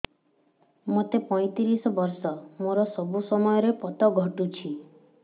ମୋତେ ପଇଂତିରିଶ ବର୍ଷ ମୋର ସବୁ ସମୟରେ ପତ ଘଟୁଛି